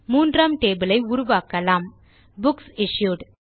மூன்றாம் டேபிள் ஐ உருவாக்கலாம் புக்ஸ் இஷ்யூட்